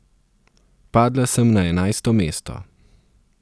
Padla sem na enajsto mesto.